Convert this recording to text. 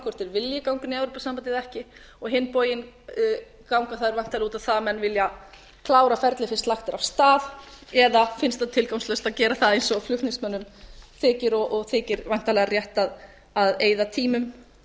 hvort þeir vilji ganga inn í evrópusambandið eða ekki á hinn bóginn ganga þær væntanlega út á það að menn vilja klára ferlið sem lagt er af stað eða finnst tilgangslaust að gera það eins og flutningsmönnum þykir og þykir væntanlega rétt að eyða